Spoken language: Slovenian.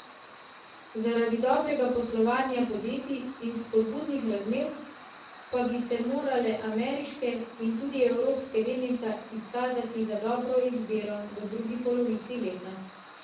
Zaradi dobrega poslovanja podjetij in spodbudnih razmer pa bi se morale ameriške in tudi evropske delnice izkazati za dobro izbiro v drugi polovici leta.